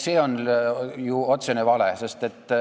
See on ju otsene vale.